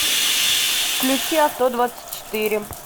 включи авто двадцать четыре